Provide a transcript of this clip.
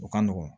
O ka nɔgɔn